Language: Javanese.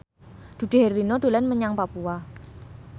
Dude Herlino dolan menyang Papua